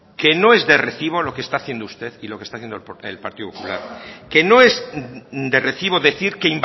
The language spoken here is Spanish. que no es de recibo lo que está haciendo usted y lo que está haciendo el partido popular que no es de recibo decir que